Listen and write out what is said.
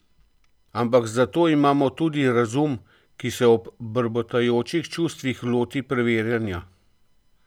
Ampak zato imamo tudi razum, ki se ob brbotajočih čustvih loti preverjanja.